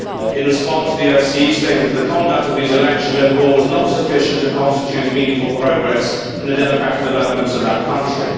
In response, the OSCE stated that the conduct of these elections overall was not sufficient to constitute meaningful progress in the democratic development of that country.